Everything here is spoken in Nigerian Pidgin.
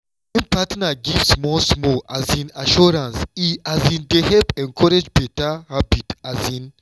when partner give small-small um assurance e um dey help encourage better habit. um